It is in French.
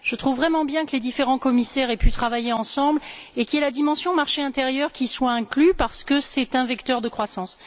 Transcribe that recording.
Je trouve vraiment bien que les différents commissaires aient pu travailler ensemble et que la dimension du marché intérieur soit incluse, parce que c'est un vecteur de croissance.